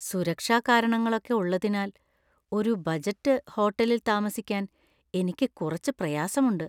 സുരക്ഷാ കാരണങ്ങളൊക്കെ ഉള്ളതിനാൽ ഒരു ബജറ്റ് ഹോട്ടലിൽ താമസിക്കാൻ എനിക്ക് കുറച്ച് പ്രയാസമുണ്ട്.